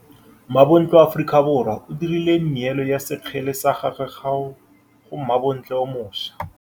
Mmabontle wa Aforika Borwa o dirile nêêlo ya sekgele sa gagwe go mmabontle o moša.